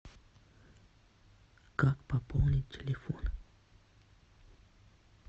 как пополнить телефон